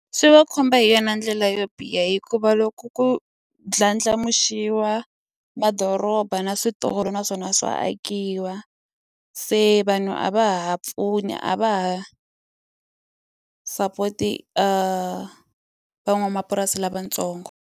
Swi va khumba hi yona ndlela yo biha hikuva loko ku ndlandlamuxiwa madoroba na switolo naswona swa akiwa se vanhu a va ha pfuni a va ha support van'wamapurasi lavatsongo.